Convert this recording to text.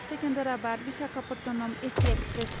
Secunderabad Visakhapatnam AC express